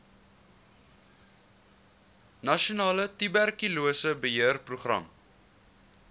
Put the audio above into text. nasionale tuberkulose beheerprogram